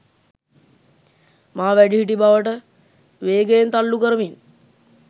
මා වැඩිහිටි බවට වේගයෙන් තල්ලු කරමින්''